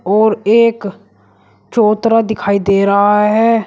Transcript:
और एक चौतरा दिखाई दे रहा है।